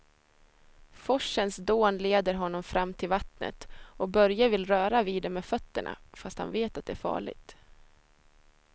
Forsens dån leder honom fram till vattnet och Börje vill röra vid det med fötterna, fast han vet att det är farligt.